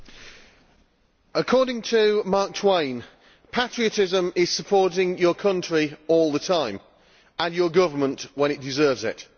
Madam President, according to Mark Twain, patriotism is supporting your country all the time and your government when it deserves it.